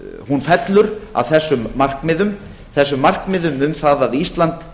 hún fellur að þessum markmiðum þessum markmiðum um það að ísland